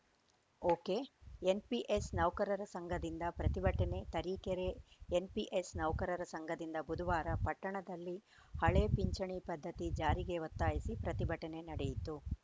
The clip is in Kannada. ಒಕೆಎನ್‌ಪಿಎಸ್‌ ನೌಕರರ ಸಂಘದಿಂದ ಪ್ರತಿಭಟನೆ ತರೀಕೆರೆ ಎನ್‌ಪಿಎಸ್‌ ನೌಕರರ ಸಂಘದಿಂದ ಬುಧವಾರ ಪಟ್ಟಣದಲ್ಲಿ ಹಳೆ ಪಿಂಚಣಿ ಪದ್ಧತಿ ಜಾರಿಗೆ ಒತ್ತಾಯಿಸಿ ಪ್ರತಿಭಟನೆ ನಡೆಯಿತು